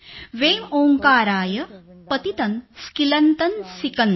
वें ओंकाराय पतितं स्क्लितं सिकंद